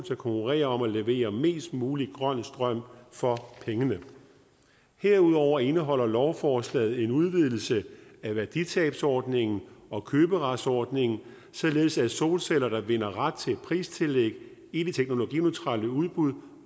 konkurrere om at levere mest mulig grøn strøm for pengene herudover indeholder lovforslaget en udvidelse af værditabsordningen og køberetsordningen således at solceller der vinder ret til pristillæg i det teknologineutrale udbud